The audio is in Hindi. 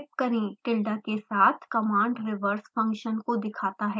tilda के साथ कमांड रिवर्स फंक्शन को दिखाता है